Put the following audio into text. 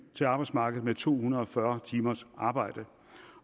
til arbejdsmarkedet med to hundrede og fyrre timers arbejde